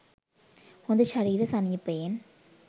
හොඳ ශරීර සනීපයෙන්